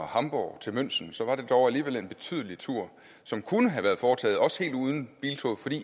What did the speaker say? hamborg til münchen var det dog alligevel en betydelig tur som kunne have været foretaget også helt uden biltoget